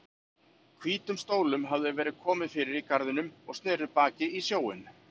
Hvítum stólum hafði verið komið fyrir í garðinum og sneru baki í sjóinn.